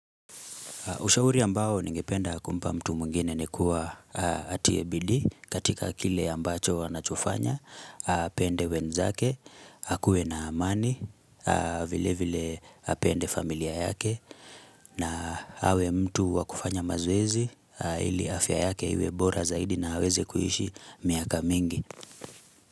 Ushauri ambao ningependa kumpa mtu mwingine ni kuwa atie bidii katika kile ambacho anachofanya, apende wenzake, akuwe na amani, vile vile apende familia yake, na awe mtu wa kufanya mazoezi ili afya yake iwe bora zaidi na aweze kuishi miaka mingi.